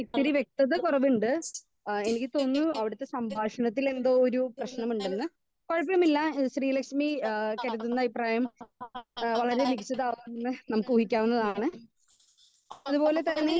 speaker 1